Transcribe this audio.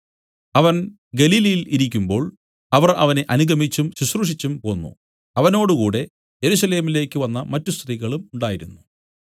അവൻ ഗലീലയിൽ ഇരിക്കുമ്പോൾ അവർ അവനെ അനുഗമിച്ചും ശുശ്രൂഷിച്ചും പോന്നു അവനോടുകൂടെ യെരൂശലേമിലേക്കു വന്ന മറ്റു സ്ത്രീകളും ഉണ്ടായിരുന്നു